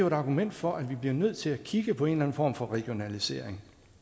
et argument for at vi bliver nødt til at kigge på en form for regionalisering